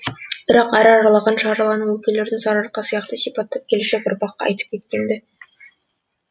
бірақ әр аралаған шарлаған өлкелердің сарыарқа сияқты сипаттап келешек ұрпаққа айтып кеткен ді